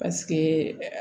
Paseke